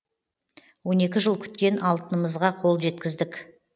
он екі жыл күткен алтынымызға қол жеткіздік